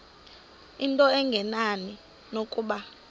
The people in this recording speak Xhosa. into engenani nokuba